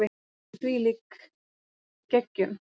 En hvílík geggjun!